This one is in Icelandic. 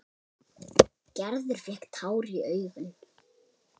Gerður fékk tár í augun.